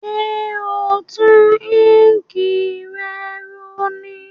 Sé o n tun ink re ro ní